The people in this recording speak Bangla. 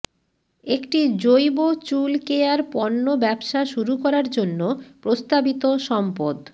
একটি জৈব চুল কেয়ার পণ্য ব্যবসা শুরু করার জন্য প্রস্তাবিত সম্পদ